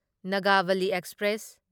Nagavali express